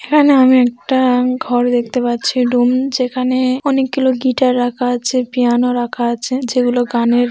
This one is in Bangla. এখানে আমি একটা ঘর দেখতে পাচ্ছি রুম যেখা-নে অনেকগুলো গিটার রাখা আছে পিয়ানো রাখা আছে। যেগুলো গানের ।